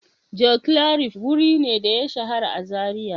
Joclarif wuri ne da ya shahara a Zariya.